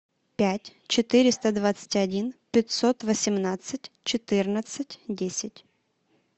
пять четыреста двадцать один пятьсот восемнадцать четырнадцать десять